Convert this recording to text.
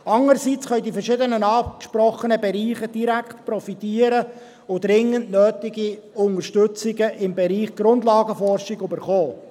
Andererseits können die verschiedenen angesprochenen Bereiche direkt profitieren und dringend nötige Unterstützungen im Bereich Grundlagenforschung erhalten.